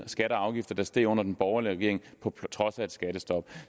skatter og afgifter der steg under den borgerlige regering på trods af et skattestop